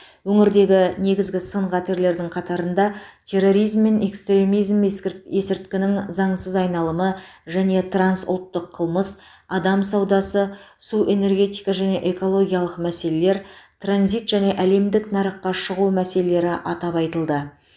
өңірдегі негізгі сын қатерлердің қатарында терроризм мен экстремизм ескі есірткінің заңсыз айналымы және трансұлттық қылмыс адам саудасы су энергетика және экологиялық мәселелер транзит және әлемдік нарыққа шығу мәселелері атап айтылды